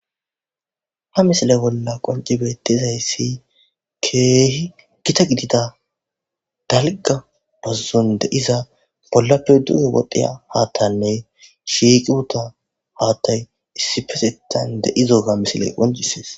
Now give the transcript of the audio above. ha misile bolla qonci beettizayssi keehi gita gidida dalga bazzon de'iza bollappe duge wodhiya haattanne shiiqi uttiya haattay issipetetan de'izoga misile qoncisees